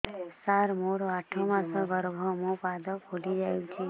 ସାର ମୋର ଆଠ ମାସ ଗର୍ଭ ମୋ ପାଦ ଫୁଲିଯାଉଛି